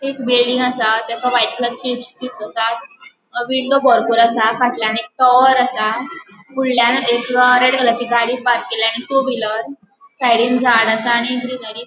एक बिल्डिंग आसा तेका व्हाइट कलर स्ट्रिप्स स्ट्रिप्स आसा. अ विंडो बरपुर आसा फाटल्यान एक टावर आसा फूडल्याण अ एक रेड कलरची गाड़ी पार्क केल्या आणि टू व्हीलर साइडीन झाड आसा आणि ग्रीनरी --